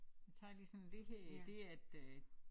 Jeg tager lige sådan det her det er et øh